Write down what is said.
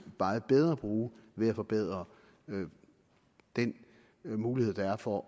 meget bedre bruge ved at forbedre den mulighed der er for